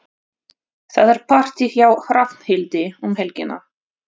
Það er partí hjá Hrafnhildi um helgina.